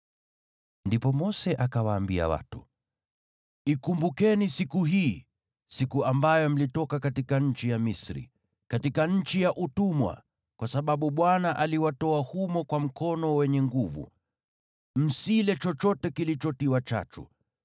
Ndipo Mose akawaambia watu, “Ikumbukeni siku hii, siku ambayo mlitoka katika nchi ya Misri, katika nchi ya utumwa, kwa sababu Bwana aliwatoa humo kwa mkono wenye nguvu. Msile chochote kilichotiwa chachu.